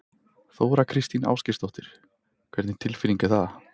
Þóra Kristín Ásgeirsdóttir: Hvernig tilfinning er það?